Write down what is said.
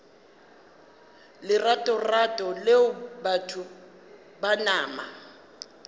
leratorato leo batho ba nama